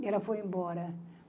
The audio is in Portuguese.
E ela foi embora.